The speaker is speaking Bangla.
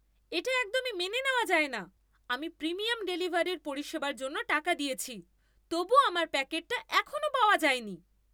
এটা একদমই মেনে নেওয়া যায় না! আমি প্রিমিয়াম ডেলিভারির পরিষেবার জন্য টাকা দিয়েছি, তবুও আমার প্যাকেটটা এখনো পাওয়া যায়নি!